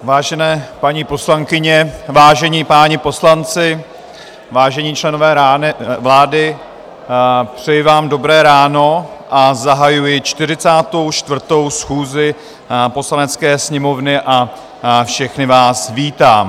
Vážené paní poslankyně, vážení páni poslanci, vážení členové vlády, přeji vám dobré ráno a zahajuji 44. schůzi Poslanecké sněmovny a všechny vás vítám.